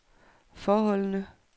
forholdene